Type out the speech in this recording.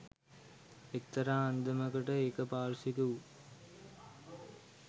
එක්තරා අන්දමකට ඒක පාර්ශ්වික වූ